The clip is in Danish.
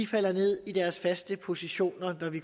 falder ned i deres faste positioner når vi